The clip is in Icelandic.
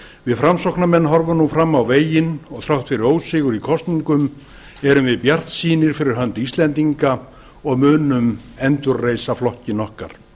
við framsóknarmenn horfum nú fram á veginn og þrátt fyrir ósigur í kosningum erum við bjartsýn fyrir hönd íslendinga og munum endurreisa flokkinn okkar